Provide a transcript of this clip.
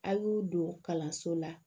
A y'u don kalanso la